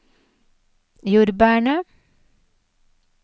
jordbærene